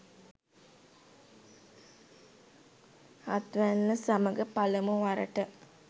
හත්වැන්න සමඟ පළමුවරට